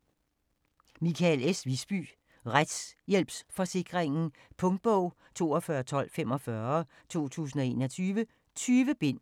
Wiisbye, Michael S.: Retshjælpsforsikringen Punktbog 421245 2021. 20 bind.